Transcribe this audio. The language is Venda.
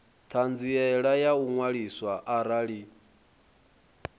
ṱhanziela ya u ṅwaliswa arali